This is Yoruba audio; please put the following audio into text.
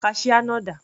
Kaṣíá náà dà?